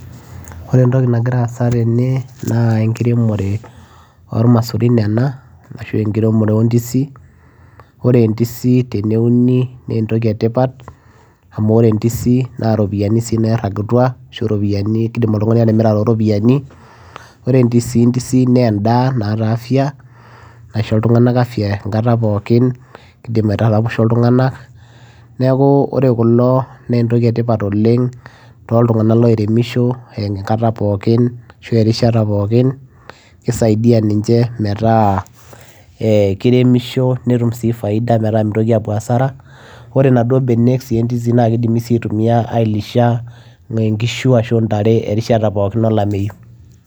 ore entoki nagira aasa tene naa enkiremore ormasurin ena ashu enkiremore ondisi ore ndisi eneuni nentoki etipat amu ore entisi naa iropiyiani sii nairagutua ashu iropiyiani kidim oltung'ani atimira toropiyiani ore ndisi ndisi naa endaa naata afya naisho iltung'anak afya enkata pookin kidim aitaraposho iltung'anak neeku ore kulo nentoki etipat oleng toltung'anak loiremisho enkata pookin ashu erishata pookin kisaidia ninche metaa eh kiremisho netum sii faida metaa mitoki apuo asara ore inaduo benek sii endisi naa kidimi aitumia ailisha eh nkishu ashu intare erishata pookin olameyu.